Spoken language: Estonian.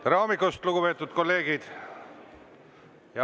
Tere hommikust, lugupeetud kolleegid!